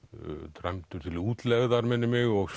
dæmdur til útlegðar minnir mig og